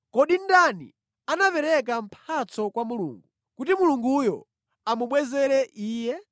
“Kodi ndani anapereka mphatso kwa Mulungu, kuti Mulunguyo amubwezere iye?”